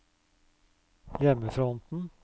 hjemmefronten